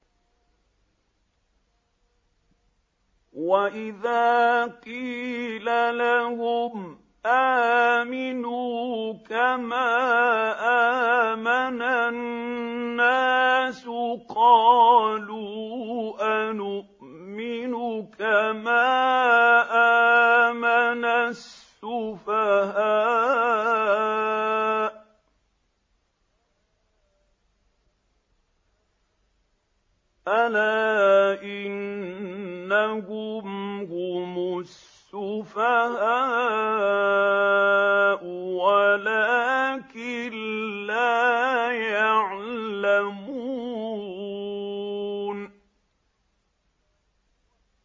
وَإِذَا قِيلَ لَهُمْ آمِنُوا كَمَا آمَنَ النَّاسُ قَالُوا أَنُؤْمِنُ كَمَا آمَنَ السُّفَهَاءُ ۗ أَلَا إِنَّهُمْ هُمُ السُّفَهَاءُ وَلَٰكِن لَّا يَعْلَمُونَ